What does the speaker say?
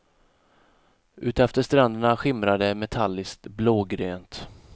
Utefter stränderna skimrade det metalliskt blågrönt.